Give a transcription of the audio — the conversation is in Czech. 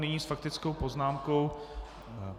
Nyní s faktickou poznámkou.